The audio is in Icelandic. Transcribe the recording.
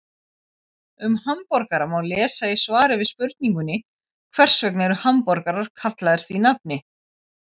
Um hamborgara má lesa í svari við spurningunni Hvers vegna eru hamborgarar kallaðir því nafni?